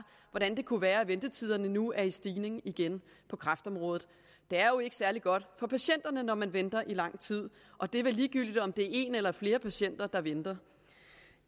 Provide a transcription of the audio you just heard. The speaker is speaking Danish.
hvordan det kunne være at ventetiderne nu er i stigning igen på kræftområdet det er jo ikke særlig godt for patienterne når man venter i lang tid og det er vel ligegyldigt om det er en eller flere patienter der venter